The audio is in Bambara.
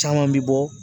Caman bɛ bɔ